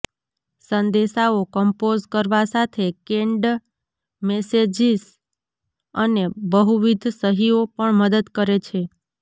સંદેશાઓ કંપોઝ કરવા સાથે કેન્ડ્ડ મેસેજીસ અને બહુવિધ સહીઓ પણ મદદ કરે છે